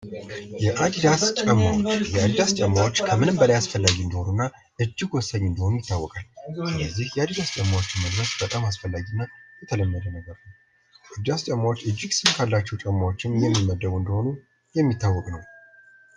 የአዲዳስ ጫማዎች ። የአዲዳስ ጫማዎች ከምንም በላይ አስፈላጊ እንደሆኑ እና እጅግ ወሳኝ እንደሆኑ ይታወቃል ።የዚህ የአዲዳስ ጫማዎችን መልበስ በጣም አስፈላጊ እና የተለመደ ነገር ነው ።የአዲዳስ ጫማዎች እጅግ ሴፍ ካላቸው ጫማዎችም የሚመደቡ እንደሆኑ የሚታወቅ ነው ።